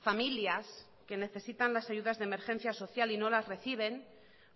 familias que necesitan las ayudas de emergencia social y no las reciben